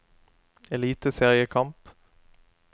eliteseriekamp